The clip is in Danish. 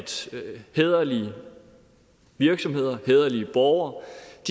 hæderlige virksomheder og hæderlige borgere